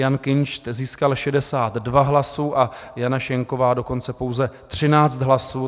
Jan Kinšt získal 62 hlasů a Jana Schenková dokonce pouze 13 hlasů.